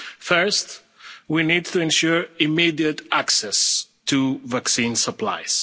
this respect. First, we need to ensure immediate access to vaccine